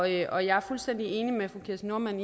jeg er fuldstændig enig med fru kirsten normann